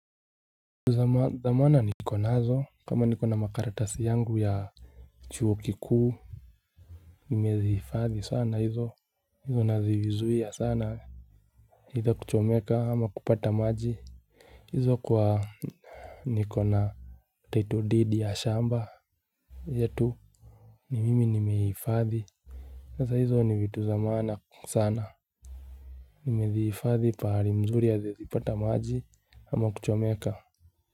Dhamana niko nazo kama niko na makaratasi yangu ya chuo kikuu nimezihifadhi sana hizo. Hizo nazizuia sana either kuchomeka ama kupata maji. Hizo kwa niko na title deed ya shamba yetu. Ni mimi nimeihifadhi. Sasa hizo ni vitu za maana sana. Nimezihifadhi pahali mzuri haziezipata maji ama kuchomeka.